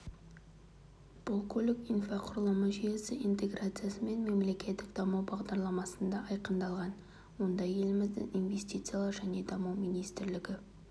бұл көлік инфрақұрылымы жүйесі интеграциясы мен мемлекеттік даму бағдарламасында айқындалған онда еліміздің инвестициялар және даму министрлігі